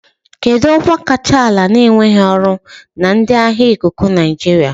Kedu ọkwa kacha ala na-enweghị ọrụ na ndị agha ikuku Nigeria.